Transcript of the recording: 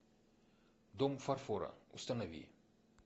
дом фарфора установи